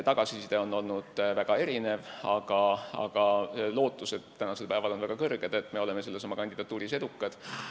Tagasiside on olnud väga erinev, aga tänasel päeval on meil väga kõrged lootused, et me oleme oma kandidatuuris edukad.